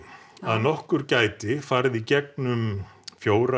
að nokkur gæti farið í gegnum fjórar